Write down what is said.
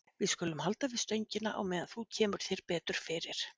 Við skulum halda við stöngina á meðan þú kemur þér betur fyrir.